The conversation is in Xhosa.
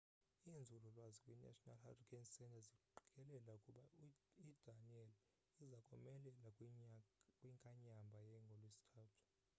iinzulu lwazi kwi national hurricane centre ziqikelela ukuba idanielle iza komelela kwinkanyamba ngolwesithathu